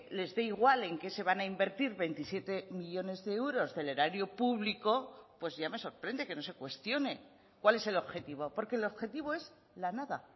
les dé igual en qué se van a invertir veintisiete millónes de euros del erario público pues ya me sorprende que no se cuestione cuál es el objetivo porque el objetivo es la nada